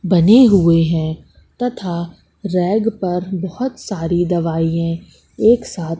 बने हुए हैं तथा रैक पर बहुत सारी दवाईयें एक साथ--